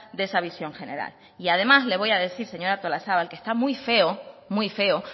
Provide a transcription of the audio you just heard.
de esa visión general además le voy a decir señora artolazabal que está muy feo